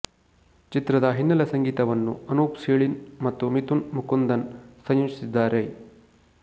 ಚಿತ್ರದ ಹಿನ್ನೆಲೆಸಂಗೀತವನ್ನು ಅನೂಪ್ ಸೀಳಿನ್ ಮತ್ತು ಮಿಥುನ್ ಮುಕುಂದನ್ ಸಂಯೋಜಿಸಿದ್ದಾರೆ